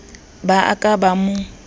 ba a ka ba mo